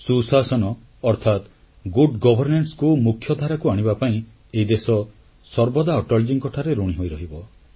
ସୁଶାସନ ଅର୍ଥାତ good governance କୁ ମୁଖ୍ୟ ଧାରାକୁ ଆଣିବା ପାଇଁ ଏହି ଦେଶ ସର୍ବଦା ଅଟଳଜୀଙ୍କଠାରେ ଋଣୀ ହୋଇରହିବ